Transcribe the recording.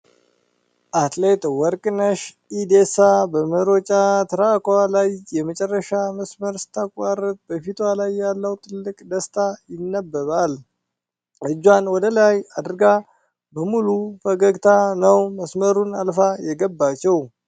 አትሌት ወርቅነሽ ኢዴሳ በመሮጫ ትራኳ ላይ የመጨረሻ መስመር ስታቋርጥ በፊቷ ላይ ያለው ትልቅ ደስታ ይነበባል። እጇን ወደላይ አድርጋ በሙሉ ፈገግታ ነው መስመሩን አልፋ የገባችው።